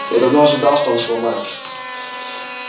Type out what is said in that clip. я давно ожидал что он сломается